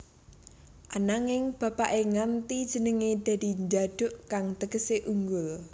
Ananging bapaké ngganti jenengé dadi Djaduk kang tegesé unggul